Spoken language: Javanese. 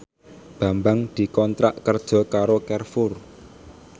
Bambang dikontrak kerja karo Carrefour